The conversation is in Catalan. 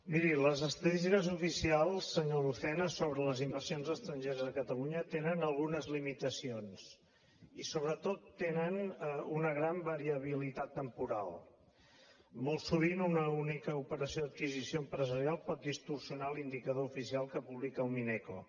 miri les estadístiques oficials senyor lucena sobre les inversions estrangeres a catalunya tenen algunes limitacions i sobretot tenen una gran variabilitat temporal molt sovint una única operació d’adquisició empresarial pot distorsionar l’indicador oficial que publica el mineco